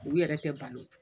U yɛrɛ tɛ ban